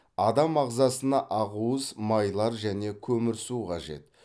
адам ағзасына ақуыз майлар және көмірсу қажет